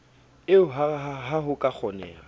eo ha ho ka kgoneha